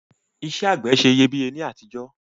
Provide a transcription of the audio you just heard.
Isẹ́ àgbẹ̀ se iyebíye ni àtijọ́